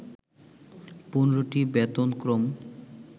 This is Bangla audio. ১৫টি বেতনক্রম